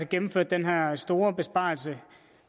gennemført den her store besparelse